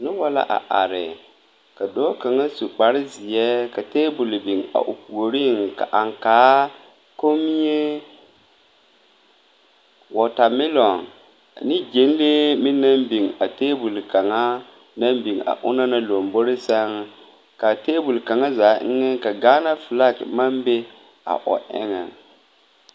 Nobɔ la a are ka dɔɔ kaŋa su kparezeɛ a tabole bio a o puoriŋ ka aŋkaa kommie wɔɔtamɛloŋ ane gyɛnlee meŋ biŋ a tabole kaŋa naŋ biŋ a onaŋ na lombore sɛŋ kaa tabole kaŋa eŋɛ ka gaana flak maŋ be a o eŋɛŋ.